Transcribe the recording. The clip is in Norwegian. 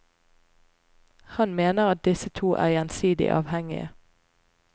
Han mener at disse to er gjensidig avhengige.